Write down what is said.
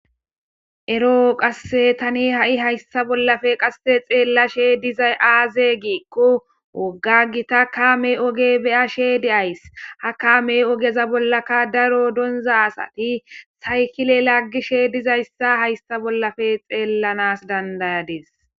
Eroo qasse tani ha7i hayssa bollafe qasse xeellashe dizay aaze giiqqu woggagita kaame oge beyashe de7ays ha kame ogeza bollaka daro donza asati saykile laggishe dizayssa haysta bollafe xeellanas dandayades